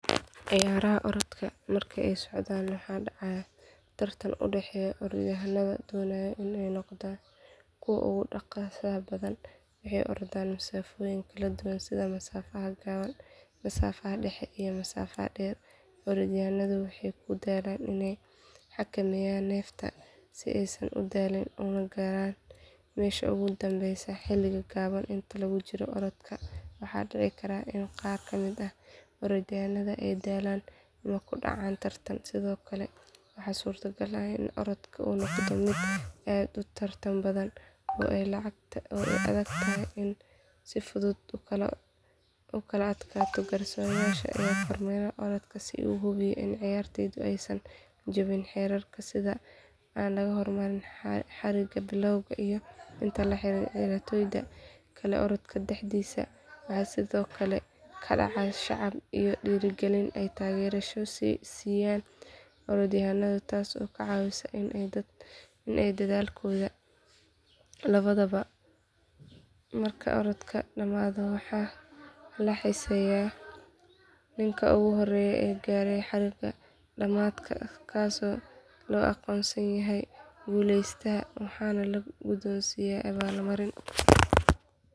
Ciyaaraha orodka marka ay socdaan waxaa dhacaya tartan u dhexeeya orodyahanno doonaya inay noqdaan kuwa ugu dhaqsaha badan waxay ordaan masaafooyin kala duwan sida masaafada gaaban masaafada dhexe iyo masaafada dheer orodyahannadu waxay ku dadaalaan inay xakameeyaan neefta si aysan u daalin una gaaran meesha ugu dambeysa xilli gaaban inta lagu jiro orodka waxaa dhici kara in qaar ka mid ah orodyahannada ay daalaan ama ku dhacaan tartanka sidoo kale waxaa suuragal ah in orodka uu noqdo mid aad u tartan badan oo ay adag tahay in si fudud loo kala adkaado garsooreyaal ayaa kormeera orodka si ay u hubiyaan in ciyaartoydu aysan jebin xeerarka sida in aan laga hormarin xariiqda bilowga iyo in aan la riixin ciyaartoyda kale orodka dhexdiisa waxaa sidoo kale ka dhaca sacab iyo dhiirrigelin ay taageerayaashu siiyaan orodyahannada taas oo ka caawisa in ay dadaalkooda labanlaabaan marka orodka dhammaado waxaa la xisaabiyaa ninka ugu horreeya ee gaaray xariiqda dhamaadka kaasoo loo aqoonsado guuleystaha waxaana la guddoonsiiyaa abaalmarin.